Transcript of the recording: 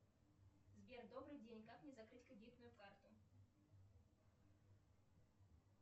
сбер добрый день как мне закрыть кредитную карту